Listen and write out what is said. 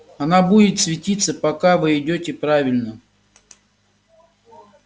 она будет светиться пока вы идёте правильно